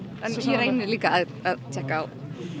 ég reyni líka að tékka